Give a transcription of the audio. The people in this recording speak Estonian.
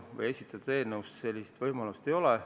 Praegusel kujul eelnõus sellist võimalust ei ole.